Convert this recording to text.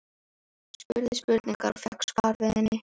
Spurði spurningar og fékk svar við henni.